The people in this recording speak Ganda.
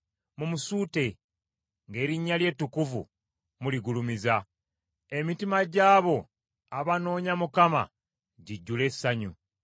Mumusuute, ng’erinnya lye ettukuvu muligulumiza; emitima gy’abo abanoonya Mukama gijjule essanyu.